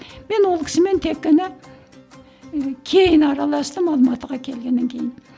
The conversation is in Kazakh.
мен ол кісімен тек қана кейін араластым алматыға келгеннен кейін